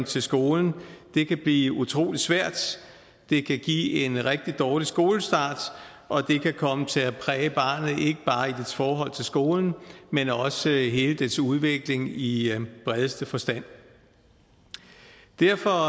til skolen blive utrolig svært det kan give en rigtig dårlig skolestart og det kan komme til at præge barnet ikke bare i dets forhold til skolen men også i hele dets udvikling i bredeste forstand derfor